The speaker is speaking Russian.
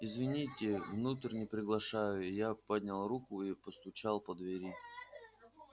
извините внутрь не приглашаю я поднял руку и постучал по двери